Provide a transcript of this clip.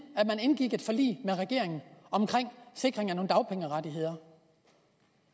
at man indgik et forlig med regeringen om sikring af nogle dagpengerettigheder